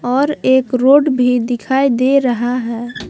और एक रोड भी दिखाई दे रहा है ।